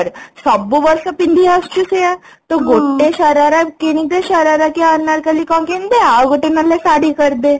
ସବୁ ବର୍ଷ ପିନ୍ଧି ଆସୁଛୁ ସେୟା ତ ଗୋଟେ ଶରାରା କିଣିଦେ ଶରାରା କି ଅନାରକଲ୍ଲୀ କଣ କିଣିଦେ ଆଉ ଗୋଟେ ନହେଲେ ଶାଢ଼ୀ କରିଦେ